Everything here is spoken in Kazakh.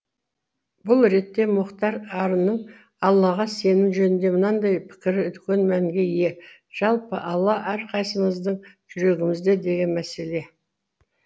бұл ретте мұхтар арынның аллаға сенім жөнінде мынадай пікірі үлкен мәнге ие жалпы алла әрқайсысымыздың жүрегімізде деген мәселе